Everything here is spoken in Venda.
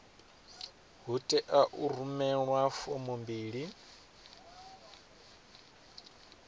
hu tea u rumelwa fomo mbili